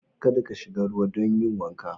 Ka da ka shiga ruwa don yin wanka.